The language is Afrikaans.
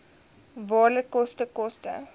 waarde koste koste